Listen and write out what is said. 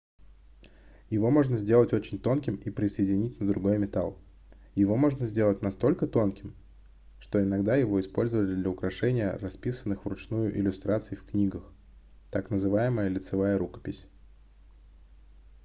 его можно сделать очень тонким и присоединить на другой метал его можно сделать настолько тонким что иногда его использовали для украшения расписанных вручную иллюстраций в книгах так называемая лицевая рукопись